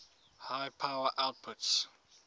high power outputs